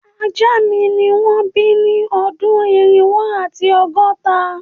Aja mi ni won bi ni odun irinwo ati ọgọta